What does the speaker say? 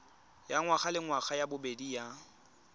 ya ngwagalengwaga ya bobedi ya